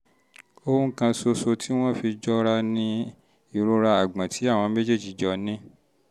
ohun kan ṣoṣo tí wọ́n fi jọra fi jọra ni ìrora àgbọ̀n tí àwọn méjèèjì jọ ní